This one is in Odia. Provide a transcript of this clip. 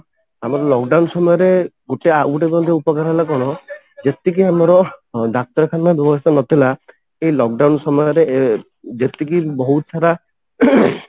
ଆମର lock down ସମୟରେ ଗୋଟେ ଆଉ ଗୋଟେ ଉପକାର ହେଲା କଣ ଯେତିକି ଆମର ଡାକ୍ତରଖାନା ବ୍ୟବସ୍ଥା ନଥିଲା ଏଇ lock down ସମୟରେ ଯେତିକି ବହୁତ ସାରା